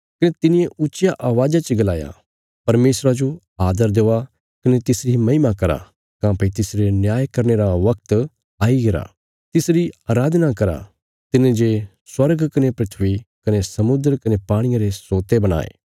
कने तिने ऊच्चिया अवाज़ा च गलाया परमेशरा जो आदर देआ कने तिसरी महिमा करा काँह्भई तिसरे न्याय करने रा बगत आईगरा तिसरी अराधना करा तिने जे स्वर्ग कने धरती कने समुद्र कने पाणिये रे सोते बणाये